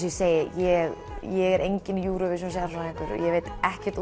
ég ég er enginn Eurovision sérfræðingur ég veit ekkert